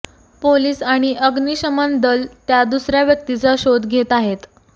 police आणि अग्निशमन दल त्या दुसऱ्या व्यक्तीचा शोध घेत आहेत